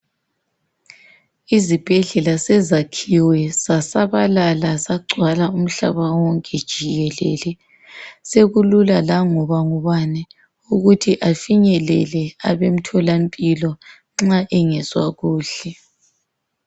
Izibhedlela sezakhiwe zasabalala, zagcwala umhlaba wonke jikelele. Sekulula langoba ngubani, ukuthi afinyelele abemtholampilo nxa engezwa kuhle.